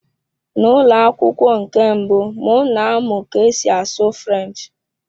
N'ụlọ akwụkwọ nke mbụ, m na-amụ ka esi asụ French.